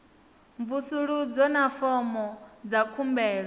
mvusuludzo na fomo dza khumbelo